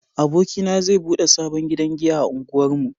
Abokina zai bude sabon gidan giya a unguwar mu